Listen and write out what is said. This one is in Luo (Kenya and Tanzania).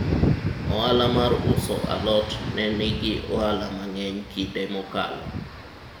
ohala mar uso alot ne nigi ohala mang'eny kinde mokalo